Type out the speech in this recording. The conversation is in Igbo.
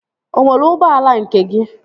Ị nwere ụgbọala nke gị?